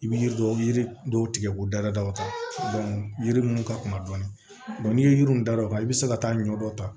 I bɛ yiri dɔw yiri dɔw tigɛ k'u da da o ta yiri ninnu ka kunna dɔɔni n'i ye yiri da o kan i bɛ se ka taa ɲɔ dɔ ta